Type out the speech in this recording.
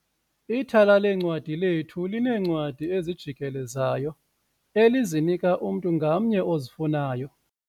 Ithala leencwadi lethu lineencwadi ezijikelezayo elizinika umntu ngamnye ozifunayo.